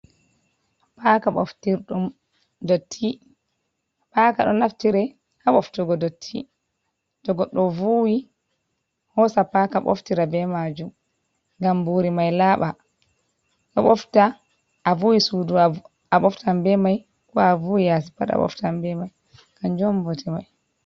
Paaka ɓoftirɗum dotti, paaka ɗo naftire ha ɓoftirgo dotti, to goɗɗo vuuwi hosa paaka ɓoftira be maajum, ngam mbuuri mai laaɓa, ɗo ɓofta, a vuuwi suudu a ɓoftan be mai, ko a vuuwi yaasi pat a ɓoftan be mai, kanjum on bote mai.